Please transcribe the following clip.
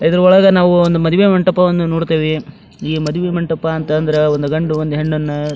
ಇದ್ರೊಳಗ್ ನಾವು ಒಂದು ಮದುವೆ ಮಂಟಪವನ್ನ ನೋಡತ್ತಿವಿ ಈ ಮದುವಿ ಮಂಟಪ ಅಂತ ಅಂದ್ರೆ ಒಂದು ಗಂಡು ಒಂದು ಹೆಣ್ಣ್ ಅನ್ನಾ--